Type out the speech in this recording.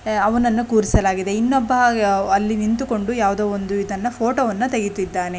ಅವನನ್ನು ಕುರಿಸಲಾಗಿದೆ ಇನ್ನೊಬ್ಬ ಅಲ್ಲಿ ನಿಂತುಕೊಂಡು ಯಾವುದೋ ಒಂದು ಇದನ್ನ ಫೋಟೋವನ್ನ ತೆಗೆತ್ತಿದ್ದಾನೆ.